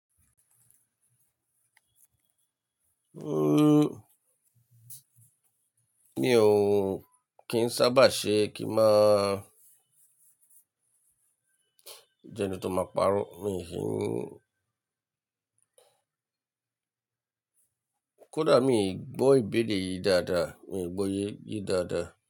Uhm, mi ò kí ń sábà ṣe kí máa jẹ eni tó máa paro. Mi ki n. Kódà mii gbọ́ ìbéèrè yìí dáadáa, mii gbọ́ yé ye dáadáa.